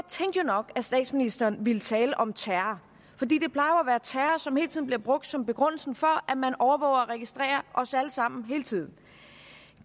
nok at statsministeren ville tale om terror som bliver brugt som begrundelse for at man overvåger og registrerer os alle sammen hele tiden